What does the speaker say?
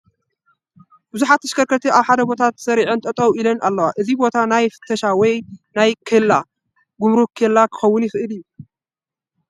ብዙሓት ተሽከርከርቲ ኣብ ሓደ ቦታ ተሰሪዐን ጠጠው ኢለን ኣለዋ፡፡ እዚ ቦታ ናይ ፍተሻ ወይ ናይ ጉምርክ ኬላ ክኸውን ይኽእል እዩ፡፡